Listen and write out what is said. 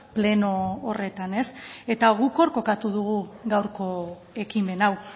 pleno horretan eta guk hor kokatu dugu gaurko ekimen hau